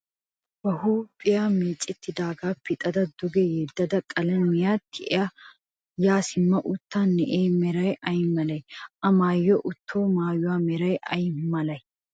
ba huuphiyaa meecettidoogaa pixa duge yeddada qalamiyaa tiyada yaa simma uttida na'ee meray ay malee? A mayya uttido mayyuwaa meray ayi malee?